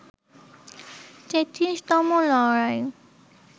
৩৩তম লড়াই